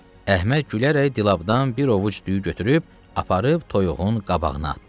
Əhməd gülərək dilabdan bir ovuc düyü götürüb aparıb toyuğun qabağına atdı.